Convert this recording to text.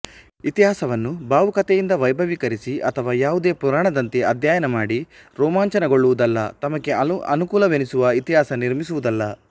ಇತಿಹಾಸವನ್ನು ಭಾವುಕತೆಯಿಂದ ವೈಭವೀಕರಿಸಿ ಅಥವಾ ಯಾವುದೋ ಪುರಾಣದಂತೆ ಅಧ್ಯಯನ ಮಾಡಿ ರೋಮಾಂಚನಗೊಳ್ಳುವುದಲ್ಲ ತಮಗೆ ಅನುಕೂಲವೆನಿಸುವ ಇತಿಹಾಸ ನಿರ್ಮಿಸುವುದಲ್ಲ